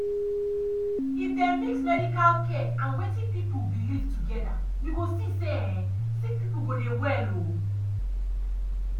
if dem mix medical care and wetin people believe together you go see say um sick people go dey well. um